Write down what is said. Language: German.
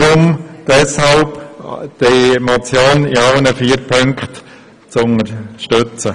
Wir bitten Sie deshalb, die Motion in allen Punkten zu unterstützen.